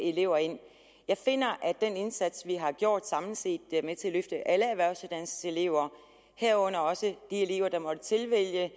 elever ind jeg finder at den indsats vi har gjort samlet set er med til at løfte alle erhvervsuddannelseselever herunder også de elever der måtte tilvælge